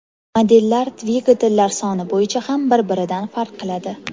Modellar dvigatellar soni bo‘yicha ham bir-biridan farq qiladi.